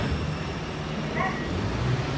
Þvílík rödd!